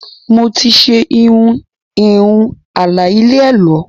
Mo ti ṣe irun ìhun aláì lẹ ẹ̀lọ́